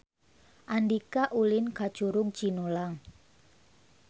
Andika ulin ka Curug Cinulang